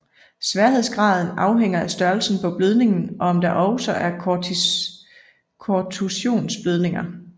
Sværhedsgraden afhænger af størrelsen på blødningen og om der også er kontusionsblødninger